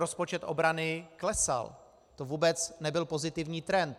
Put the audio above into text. Rozpočet obrany klesal, to vůbec nebyl pozitivní trend.